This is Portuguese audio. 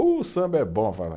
O samba é bom.